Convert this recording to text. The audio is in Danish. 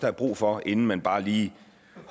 er brug for inden man bare lige